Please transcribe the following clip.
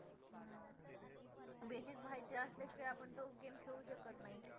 basic माहिती असल्या शिवाय आपण तो game खेळू शकत नाही